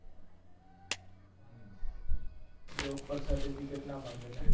job પર certificate ના માંગે લ્યા